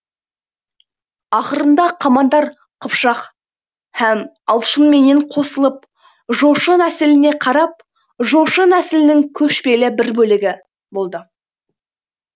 ақырында қамандар қыпшақ һәм алшынменен қосылып жошы нәсіліне қарап жошы нәсілінің көшпелі бір бөлегі болды